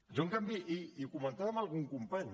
jo en canvi i ho comentava amb algun company